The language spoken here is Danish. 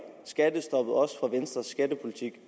for venstres skattepolitik